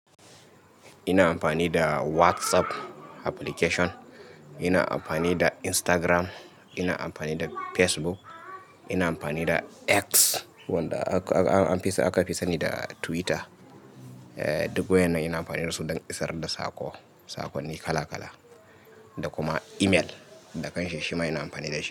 Ina amfani da WhatsApp application, ina amfani da Instagram, ina amfani da Facebook, ina amfani da X wanda aka fi sani da Twitter. Duk waƴan nan ina amfani da su dan isar da soƙo, saƙonni kala kala, da kuma email, da kanshi shima ina amfani da shi.